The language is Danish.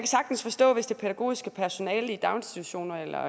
sagtens forstå hvis det pædagogiske personale i daginstitutionerne eller